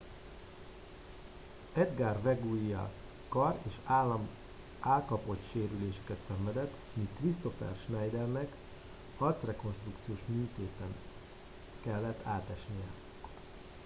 edgar veguilla kar és állkapocssérüléseket szenvedett míg kristoffer schneidernek arcrekonstrukciós műtéten ellett átesnie